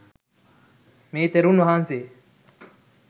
මේ තෙරුන් වහන්සේ